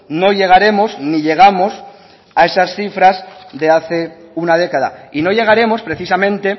no llegaremos ni llegamos a esas cifras de hace una década y no llegaremos precisamente